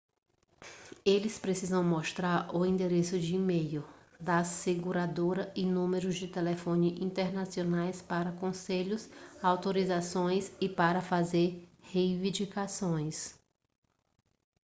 eles precisam mostrar o endereço de e-mail da seguradora e números de telefone internacionais para conselhos/autorizações e para fazer reivindicações